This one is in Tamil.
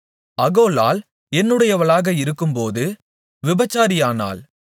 அகோலாள் என்னுடையவளாக இருக்கும்போது விபசாரியானாள்